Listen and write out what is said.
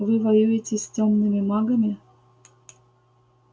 вы воюете с тёмными магами